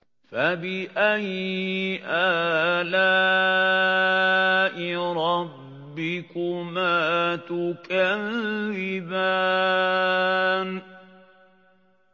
فَبِأَيِّ آلَاءِ رَبِّكُمَا تُكَذِّبَانِ